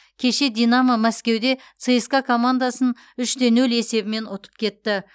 кеше динамо мәскеуде цска командасын үш те нөл есебімен ұтып кетті